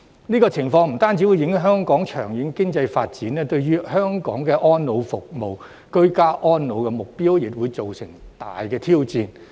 這種情況不單會影響香港的長遠經濟發展，對於香港的安老服務、居家安老目標，亦會造成極大挑戰。